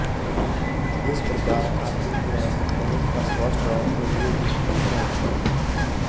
इस प्रकार आकृतियाँ बहुत स्पष्ट और उभरी दीखती हैं